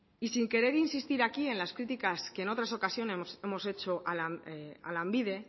y sin querer insistir aquí en las críticas que en otras ocasiones hemos hecho a lanbide